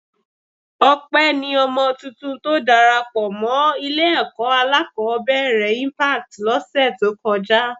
Ọpẹ ni ọmọ tuntun tó darapọ̀ mọ́ Ilé-ẹ̀kọ́ alákọ̀ọ́bẹ̀rẹ̀ Impact lọ́sẹ̀ tó kọjá